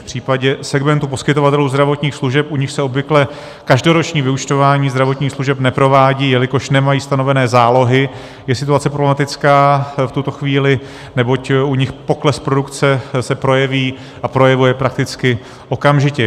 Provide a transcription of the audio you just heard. V případě segmentu poskytovatelů zdravotních služeb, u nichž se obvykle každoroční vyúčtování zdravotních služeb neprovádí, jelikož nemají stanovené zálohy, je situace problematická v tuto chvíli, neboť u nich pokles produkce se projeví a projevuje prakticky okamžitě.